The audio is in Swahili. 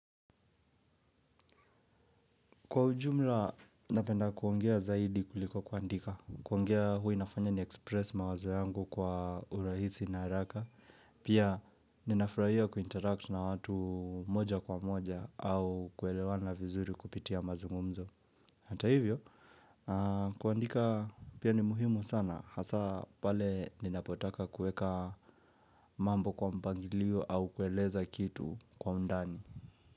Kwa ujumla, napenda kuongea zaidi kuliko kuandika. Kuongea huwa inafanya niexpress mawazo yangu kwa urahisi na haraka. Pia, ninafurahia kuinteract na watu moja kwa moja au kuelewana vizuri kupitia mazungumzo. Hata hivyo, kuandika pia ni muhimu sana. Hasa pale ninapotaka kuweka mambo kwa mpangilio au kueleza kitu kwa undani.